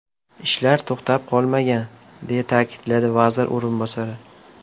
Ishlar to‘xtab qolmagan”, deya ta’kidladi vaziri o‘rinbosari.